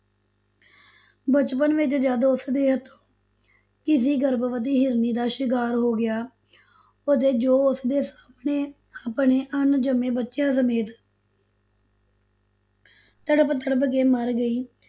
ਬਚਪਨ ਵਿਚ ਜਦ ਉਸਦੇ ਹੱਥੋਂ ਕਿਸੀ ਗਰਭਵਤੀ ਹਿਰਨੀ ਦਾ ਸ਼ਿਕਾਰ ਹੋ ਗਿਆ ਅਤੇ ਜੋ ਉਸਦੇ ਸਾਹਮਣੇ ਆਪਣੇ ਅਣਜੰਮੇ ਬੱਚਿਆਂ ਸਮੇਤ ਤੜਪ ਤੜਪ ਕੇ ਮਰ ਗਈ,